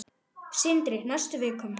Sindri: Næstu vikum?